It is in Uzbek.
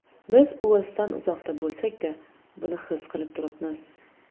Biz Uelsdan uzoqda bo‘lsakda, buni his qilib turibmiz.